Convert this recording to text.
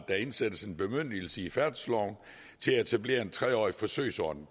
der indsættes en bemyndigelse i færdselsloven til at etablere en tre årig forsøgsordning